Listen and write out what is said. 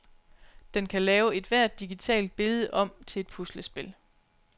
Den kan lave ethvert digitalt billede om til et puslespil.